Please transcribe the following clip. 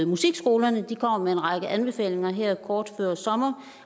musikskolerne med en række anbefalinger her kort før sommer